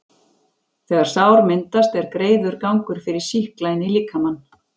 þegar sár myndast, er greiður gangur fyrir sýkla inn í líkamann.